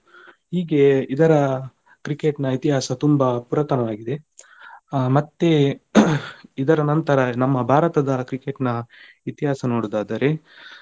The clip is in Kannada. ಹೀಗೆ ಇದರ Cricket ನ ಇತಿಹಾಸ ತುಂಬಾ ಪುರಾತನವಾಗಿದೆ ಮತ್ತೆ ಇದರ ನಂತರ ನಮ್ಮ ಭಾರತದ Cricket ನ ಇತಿಹಾಸ ನೋಡುವುದಾದರೆ,